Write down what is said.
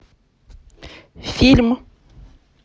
фильм